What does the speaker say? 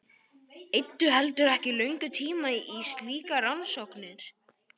Eyddu heldur ekki löngum tíma í slíkar rannsóknir.